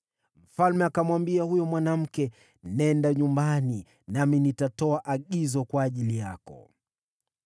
Mfalme akamwambia huyo mwanamke, “Nenda nyumbani, nami nitatoa agizo kwa ajili yako.”